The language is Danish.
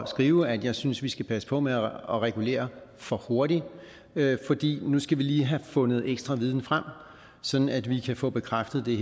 at skrive at jeg synes at vi skal passe på med at regulere for hurtigt fordi nu skal vi lige har fundet ekstra viden frem sådan at vi kan få bekræftet det